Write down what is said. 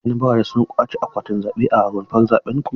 Shin 'yan baranda sun ƙwace akwatin zaɓe a rumfar zaben ku?